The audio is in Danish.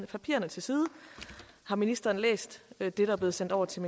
papirerne til side har ministeren læst det der er blevet sendt over til